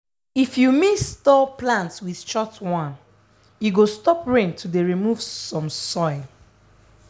if you mix tall plant with short one e go stop rain to dey remove some soil.